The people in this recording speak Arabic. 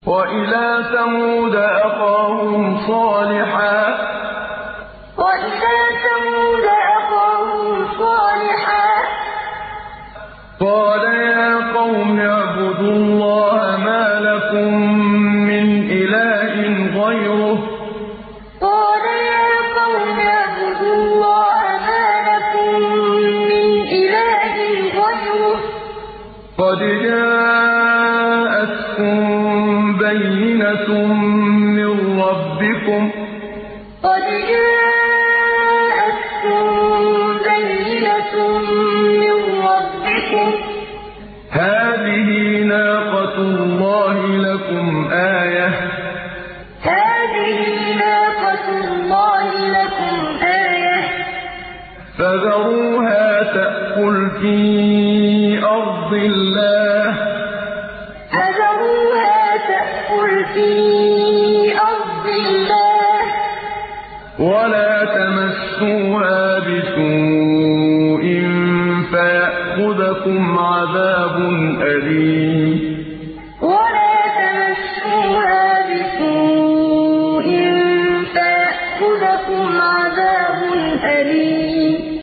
وَإِلَىٰ ثَمُودَ أَخَاهُمْ صَالِحًا ۗ قَالَ يَا قَوْمِ اعْبُدُوا اللَّهَ مَا لَكُم مِّنْ إِلَٰهٍ غَيْرُهُ ۖ قَدْ جَاءَتْكُم بَيِّنَةٌ مِّن رَّبِّكُمْ ۖ هَٰذِهِ نَاقَةُ اللَّهِ لَكُمْ آيَةً ۖ فَذَرُوهَا تَأْكُلْ فِي أَرْضِ اللَّهِ ۖ وَلَا تَمَسُّوهَا بِسُوءٍ فَيَأْخُذَكُمْ عَذَابٌ أَلِيمٌ وَإِلَىٰ ثَمُودَ أَخَاهُمْ صَالِحًا ۗ قَالَ يَا قَوْمِ اعْبُدُوا اللَّهَ مَا لَكُم مِّنْ إِلَٰهٍ غَيْرُهُ ۖ قَدْ جَاءَتْكُم بَيِّنَةٌ مِّن رَّبِّكُمْ ۖ هَٰذِهِ نَاقَةُ اللَّهِ لَكُمْ آيَةً ۖ فَذَرُوهَا تَأْكُلْ فِي أَرْضِ اللَّهِ ۖ وَلَا تَمَسُّوهَا بِسُوءٍ فَيَأْخُذَكُمْ عَذَابٌ أَلِيمٌ